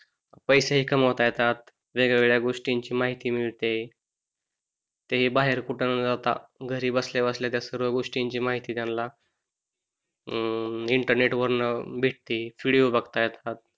पैसे कमवता येतात वेगवेगळ्या गोष्टींची माहिती मिळते ते बाहेर कुठ न जाता घरी बसल्या बसल्या त्या सर्व गोष्टींची माहिती त्यानला हम्म इंटरनेट वरन भेटते विडिओ बघता येतात